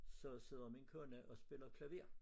Så sidder min kone og spiller klaver